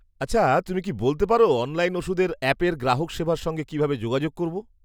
আচ্ছা তুমি কি বলতে পার অনলাইন ওষুধের অ্যাপের গ্রাহক সেবার সঙ্গে কিভাবে যোগাযোগ করব?